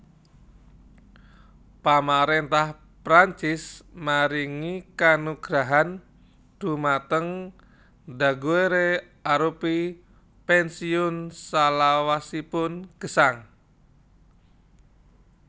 Pamaréntah Prancis maringi kanugrahan dhumateng Daguerre arupi pènsiun salawasipun gesang